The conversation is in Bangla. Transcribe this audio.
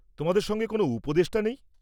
তোমাদের সঙ্গে কোনও উপদেষ্টা নেই?